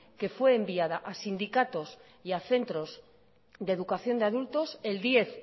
que fue enviada a sindicatos y a centros de educación de adultos el diez